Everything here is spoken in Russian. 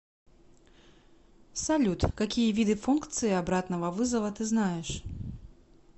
салют какие виды функции обратного вызова ты знаешь